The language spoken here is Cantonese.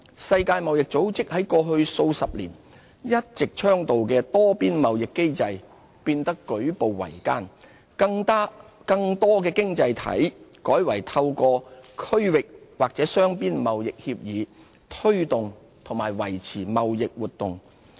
世界貿易組織過去數十年一直倡導的多邊貿易機制變得舉步維艱，更多經濟體改為透過區域或雙邊貿易協議，推動和維持貿易活動。